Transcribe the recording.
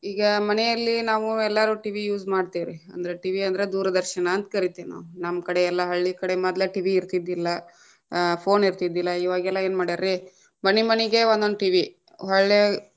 ಈಗಾ ಮನೆಯಲ್ಲಿ ನಾವು ಎಲ್ಲಾರು TV use ಮಾಡ್ತೇವ್ರೀ, ಅಂದ್ರ TV ಅಂದ್ರ ದೂರದಶ೯ನ ಅಂತ್‌ ಕರಿತೀವಿ ನಾವ್,‌ ನಮ್ಮಕಡೆ ಎಲ್ಲಾ ಹಳ್ಳಿಕಡೆ ಮದ್ಲ TV ಇತೀ೯ದ್ದಿಲ್ಲಾ, ಅ phone ಇತೀ೯ದ್ದಿಲ್ಲಾ, ಇವಾಗ ಎಲ್ಲಾ ಏನ್‌ ಮಾಡ್ಯಾರ್ರೀ ಮನಿಮನಿಗೆ ಒಂದೊಂದ TV ಹೊಳ್ಳಿ.